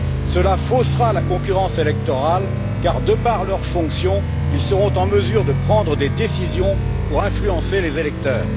Cela faussera la concurrence électorale car, de par leurs fonctions, ils seront en mesure de prendre des décisions pour influencer les électeurs.